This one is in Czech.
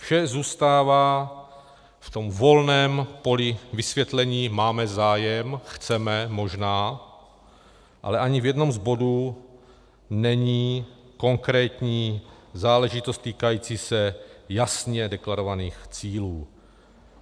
Vše zůstává v tom volném poli vysvětlení - máme zájem, chceme, možná - ale ani v jednom z bodů není konkrétní záležitost týkající se jasně deklarovaných cílů.